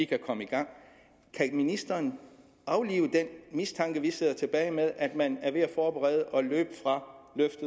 komme i gang kan ministeren aflive den mistanke vi sidder tilbage med at man er ved at forberede